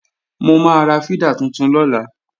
Mo máa ra fídà tuntun lọ́la